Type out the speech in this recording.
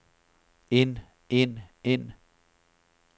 ind ind ind